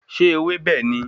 Ṣé ewébẹ̀ ni?